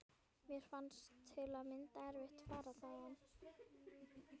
Mér fannst til að mynda erfitt að fara þaðan.